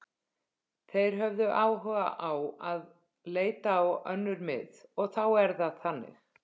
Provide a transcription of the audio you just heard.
Þeir höfðu áhuga á að leita á önnur mið og þá er það þannig.